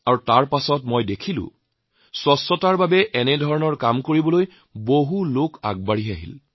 তাৰপাছতো মই দেখিছোঁ যে স্বচ্ছতাৰ বাবে এই ধৰণৰ কাম কৰিবলৈ কিমান মানুহ ওলাই আহিছে